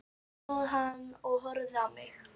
Þar stóð hann og horfði á mig.